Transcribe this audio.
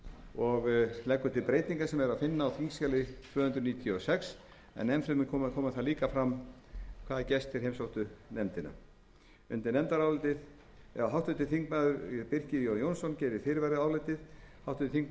og leggur til breytingar sem er að finna á þingskjali tvö hundruð fjörutíu og sex enn fremur kemur þar fram hvaða gestir heimsóttu nefndina háttvirtur þingmaður birkir j jónsson gerir fyrirvara við álitið háttvirtir þingmenn